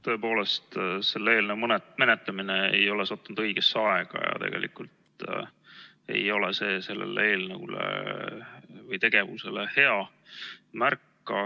Tõepoolest, selle eelnõu menetlemine ei ole sattunud õigesse aega ja see ei ole sellele eelnõule või tegevusele hea märk.